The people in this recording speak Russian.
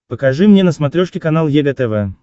покажи мне на смотрешке канал егэ тв